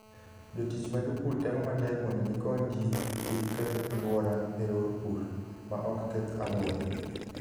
Jotich ma jopur temo matek mondo gikony ji kik keth alwora e yor pur ma ok keth alwora.